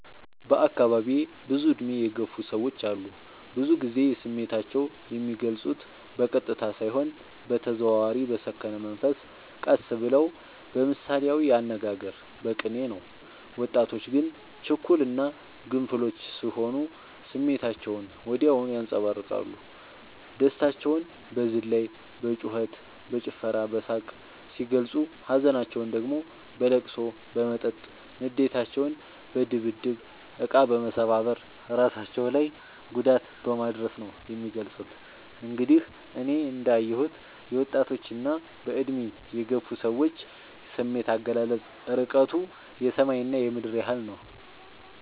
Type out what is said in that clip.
በአካባቢዬ ብዙ እድሜ የገፉ ሰዎች አሉ። ብዙ ግዜ ስሜታቸው የሚልፁት በቀጥታ ሳይሆን በተዘዋዋሪ በሰከነ መንፈስ ቀስ ብለው በምሳሌያዊ አነጋገር በቅኔ ነው። ወጣቶች ግን ችኩል እና ግንፍሎች ስሆኑ ስሜታቸውን ወዲያው ያንፀባርቃሉ። ደስታቸውን በዝላይ በጩከት በጭፈራ በሳቅ ሲገልፁ ሀዘናቸውን ደግሞ በለቅሶ በመጠጥ ንዴታቸውን በድብድብ እቃ መሰባበር እራሳቸው ላይ ጉዳት በማድረስ ነው የሚገልፁት። እንግዲህ እኔ እንዳ የሁት የወጣቶች እና በእድሜ የገፉ ሰዎች ስሜት አገላለፅ እርቀቱ የሰማይ እና የምድር ያህል ነው።